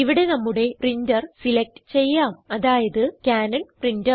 ഇവിടെ നമ്മുടെ printer select ചെയ്യാം അതായത് കാനൻ പ്രിന്റർ